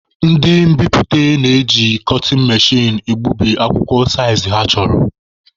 Ndị mbiputa na-eji kọtịn mechin egbubi akwụkwọ saịzị ha chọrọ.